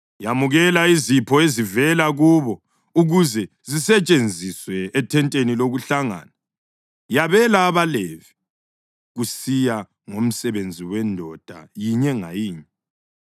“Yamukela izipho ezivela kubo ukuze zisetshenziswe ethenteni lokuhlangana. Yabela abaLevi kusiya ngomsebenzi wendoda yinye ngayinye.”